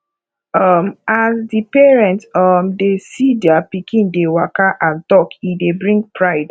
um as di parent um dey see their pikin dey waka and talk e dey bring pride